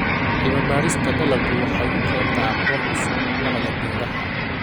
Cilmi-baarista dalaggu waxay u keentaa aqoon cusub waaxda beeraha.